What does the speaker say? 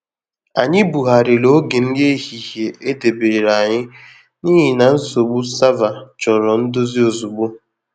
Anyị bughariri oge nri ehihie e debere anyi n’ihi na nsogbu sava chọrọ ndozi ozugbo.